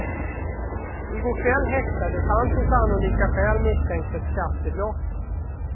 I går kväll häktades han på sannolika skäl misstänkt för skattebrott.